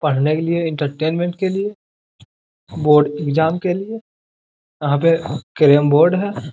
पढ़ने के लिए एंटरटेनमेंट के लिए बोर्ड एग्जाम के लिए यहां पर कैरम बोर्ड है।